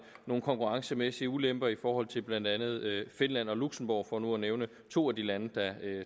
nogle konkurrencemæssige ulemper i forhold til blandt andet finland og luxembourg for nu at nævne to af de lande der